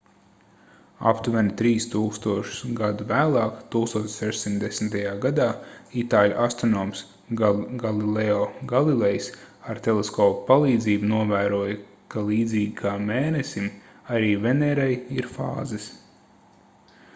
aptuveni trīs tūkstošus gadu vēlāk 1610. gadā itāļu astronoms galileo galilejs ar teleskopa palīdzību novēroja ka līdzīgi kā mēnesim arī venērai ir fāzes